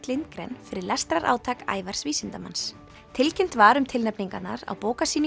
Lindgren fyrir lestrarátak Ævars vísindamanns tilkynnt var um tilnefningarnar á